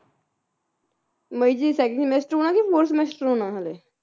ਮਈ ਚ second semester ਹੋਣਾ ਕੇ fourth semester ਹੋਣਾ ਹਲੇ